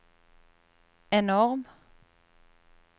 enorm